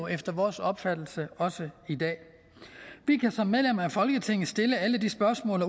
efter vores opfattelse også i dag vi kan som medlemmer af folketinget stille alle de spørgsmål